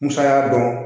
Musaka dɔn